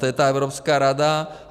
To je ta Evropská rada.